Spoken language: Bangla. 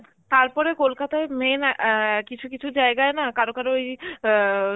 তারপরে কলকাতায় main অ্যাঁ কিছু কিছু জায়গায় না কারো কারো ওই অ্যাঁ